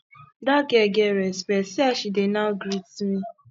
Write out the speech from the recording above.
dat girl get respect see as she dey now greet me